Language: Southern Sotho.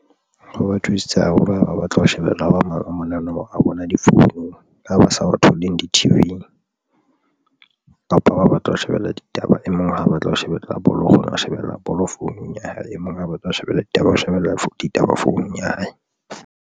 Ho ba thusitse haholo haeba o batla ho shebella hoba maoba mona. Nomoro a bona difounung ha ba sa tholeng di-T_V-ing kapa ba batla ho shebella ditaba e mong ha a batla ho shebella bolo, o kgona ho shebella bolo founung ya hae, e mong ha a batla ho shebella ditaba ho shebella ditaba founung ya hae.